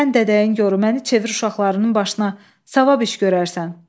Sən dədəyin gorru, məni çevir uşaqlarının başına, savab iş görərsən.